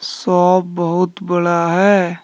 Shop बहुत बड़ा है।